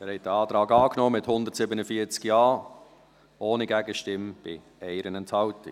Sie haben diesen Antrag angenommen, mit 147 Ja-Stimmen, ohne Gegenstimme bei 1 Enthaltung.